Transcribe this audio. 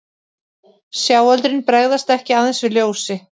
Sjáöldrin bregðast ekki aðeins við ljósi.